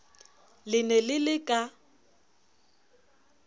le ne le le ka